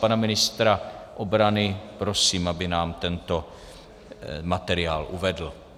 Pana ministra obrany prosím, aby nám tento materiál uvedl.